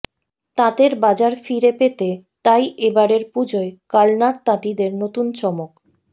তাঁতের বাজার ফিরে পেতে তাই এ বারের পুজোয় কালনার তাঁতিদের নতুন চমক